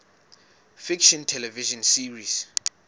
fiction television series